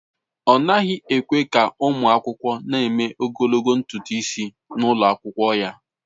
Ọ naghị ekwe ka ụmụ akwụkwọ na-eme ogologo ntutu isi n'ụlọ akwụkwọ ya.